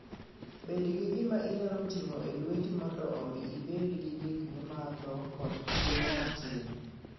Bed gi gima inyalo ting'o e lweti mondo omi ibed gi gik mimadho koda chiemo matin.